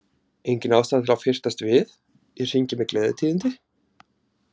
Engin ástæða til að fyrtast við, ég hringi með gleðitíðindi.